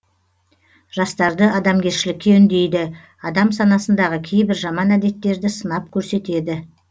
жастарды адамгершілікке үндейді адам санасындағы кейбір жаман әдеттерді сынап көрсетеді